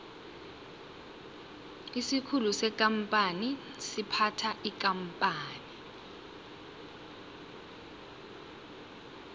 isikhulu sekampani siphatha ikampani